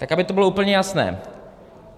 Tak aby to bylo úplně jasné.